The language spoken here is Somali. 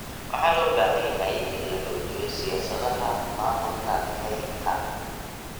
Waxaa loo baahan yahay in la xoojiyo siyaasadaha maamulka kaynta.